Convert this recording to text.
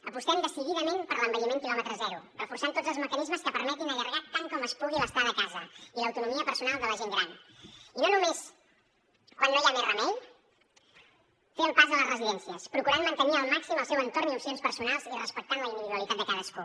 apostem decididament per l’envelliment quilòmetre zero reforçant tots els mecanismes que permetin allargar tant com es pugui l’estada a casa i l’autonomia personal de la gent gran i només quan no hi ha més remei fer el pas a les residències procurant mantenir al màxim el seu entorn i opcions personals i respectant la individualitat de cadascú